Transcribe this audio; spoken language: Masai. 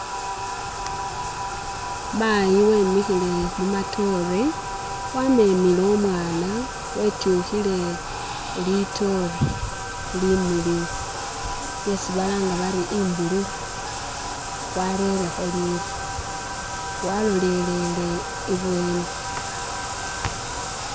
Mayi wemikhile mu matoore wamemele umwana wetukhile litoore limiliyu lyesi balanga bari imbululu warelekho liru walolelele ibweni.